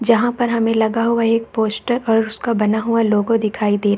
जहाँ पर हमे लगा हुआ एक पोस्टर और उसका बना हुआ लोगो दिखाई दे --